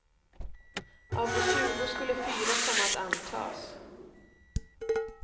Av de tjugo skulle fyra komma att antas.